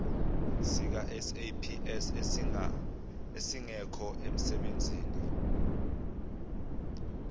sikasaps esingekho emsebenzini